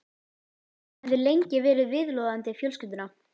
Hann hafði lengi verið viðloðandi fjölskylduna.